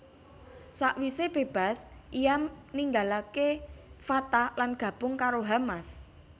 Sakwise bebas ia ninggalake Fatah lan gabung karo Hamas